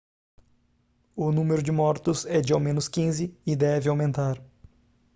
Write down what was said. o número de mortos é de ao menos 15 e deve aumentar